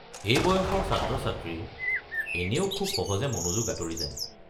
এই বয়সৰ ছাত্ৰ-ছাত্ৰীৰ এনেও খুব সহজে মনোযোগ আঁতৰি যায়।